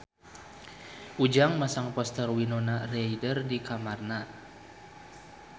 Ujang masang poster Winona Ryder di kamarna